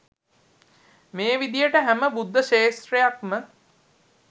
මේ විදියට හැම බුද්ධක්ෂේත්‍රයක්ම